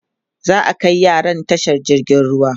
za'a Kai yaran tashar jirgin ruwa